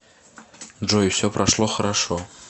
джой все прошло хорошо